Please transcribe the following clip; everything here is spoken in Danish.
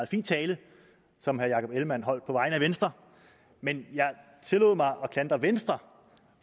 fin tale som herre jakob ellemann jensen holdt på vegne af venstre men jeg tillod mig at klandre venstre